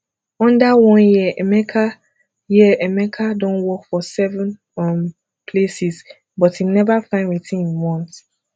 under one year emeka year emeka don work for seven um places but im never find wetin im want